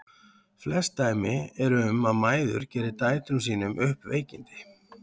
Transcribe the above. Flest dæmi eru um að mæður geri dætrum sínum upp veikindi.